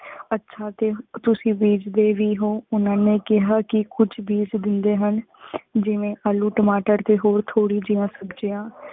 ਅੱਛਾ ਤੇ ਤੁਸੀਂ ਬੀਜਦੇ ਵੀ ਹੋ? ਓਹਨਾ ਨੇ ਕਿਹਾ ਕੀ ਕੀ ਕੁਛ ਬੀਜ ਦਿੰਦੇ ਹਨ। ਜਿਵੇਂ ਆਲੂ ਟਮਾਟਰ ਹੋਰ ਥੋੜੀ ਜਿਆਂ ਸਬ੍ਜਿਯਾੰ